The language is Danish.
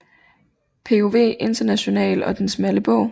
POV International og Den smalle bog